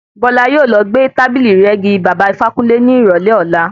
Bọ́lá yóò lọ gbé tábìlì ìrẹ́gi baba Ifákúnle ní ìrọ̀lẹ́ ọlá.